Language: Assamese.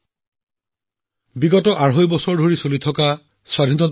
ই দেশৰ ৰাজধানীৰ মাজমজিয়াত অমৃত মহোৎসৱৰ এক ভব্য উত্তৰাধিকাৰ হিচাপে সাক্ষী হৈ ৰব